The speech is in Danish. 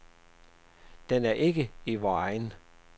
Den er ikke i vor egen.